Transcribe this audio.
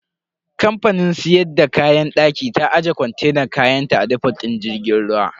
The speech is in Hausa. Kamfanin siyar da kayan daki ta aje kontenan kayanta a defot din jirgin ruwan.